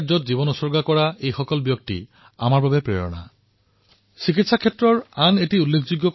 doctor Jayachandran আৰু সুলাগিট্টী নৰসম্মাৰ দৰে ব্যক্তিসকলে সমাজৰ কল্যাণৰ বাবে নিজৰ জীৱন উৎসৰ্গিত কৰিছিল